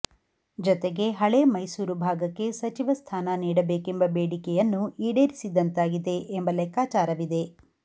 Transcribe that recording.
ಜತೆಗೆ ಹಳೆ ಮೈಸೂರು ಭಾಗಕ್ಕೆ ಸಚಿವ ಸ್ಥಾನ ನೀಡಬೇಕೆಂಬ ಬೇಡಿಕೆಯನ್ನೂ ಈಡೇರಿಸಿದಂತಾಗಿದೆ ಎಂಬ ಲೆಕ್ಕಾಚಾರವಿದೆ